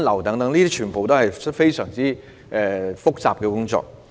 凡此種種，皆是非常複雜的工作。